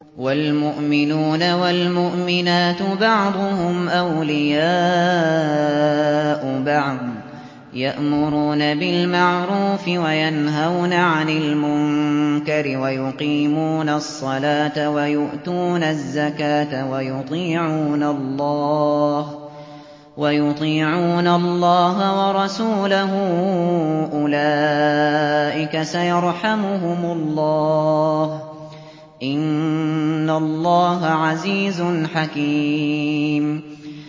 وَالْمُؤْمِنُونَ وَالْمُؤْمِنَاتُ بَعْضُهُمْ أَوْلِيَاءُ بَعْضٍ ۚ يَأْمُرُونَ بِالْمَعْرُوفِ وَيَنْهَوْنَ عَنِ الْمُنكَرِ وَيُقِيمُونَ الصَّلَاةَ وَيُؤْتُونَ الزَّكَاةَ وَيُطِيعُونَ اللَّهَ وَرَسُولَهُ ۚ أُولَٰئِكَ سَيَرْحَمُهُمُ اللَّهُ ۗ إِنَّ اللَّهَ عَزِيزٌ حَكِيمٌ